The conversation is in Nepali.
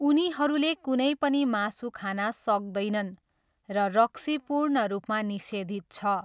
उनीहरूले कुनै पनि मासु खान सक्दैनन् र रक्सी पूर्ण रूपमा निषेधित छ।